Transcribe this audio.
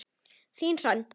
Þín, Hrönn.